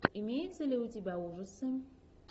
имеется ли у тебя ужасы